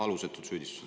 Alusetud süüdistused.